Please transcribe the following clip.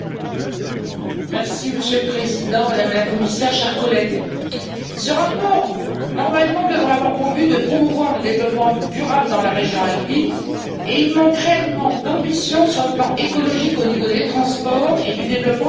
Monsieur le Président, Madame la Commissaire, chers collègues, ce rapport devrait normalement avoir pour but de promouvoir le développement durable dans la région alpine et il manque réellement d'ambition sur le plan écologique au niveau des transports et du développement des énergies renouvelables.